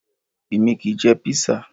Èmi kì í jẹ Písà